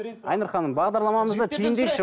айнұр ханым бағдарламамызды түйіндейікші